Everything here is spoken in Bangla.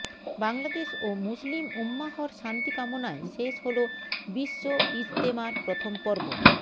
বাংলাদেশ ও মুসলিম উম্মাহর শান্তি কামনায় শেষ হলো বিশ্ব ইজতেমার প্রথম পর্ব